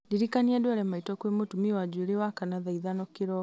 ndirikania ndware maitũ kwĩ mũtumi wa njuĩrĩ wakana thaa ithano kĩroko